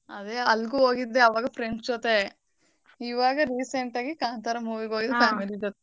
ಅದೇ ಅಲ್ಗೂ ಹೋಗಿದ್ದೆ ಆವಾಗ friends ಜೊತೆ ಇವಾಗ recent ಆಗಿ ಕಾಂತಾರ movie ಗ್ family ಜೊತೆ.